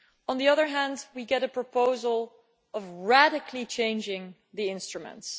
On the other hand, we get a proposal to radically change the instruments.